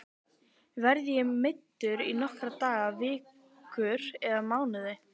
Verð ég meiddur í nokkra daga, vikur eða mánuði?